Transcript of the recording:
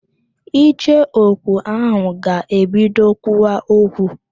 Icheoku ahụ ga-ebido kwuwa okwu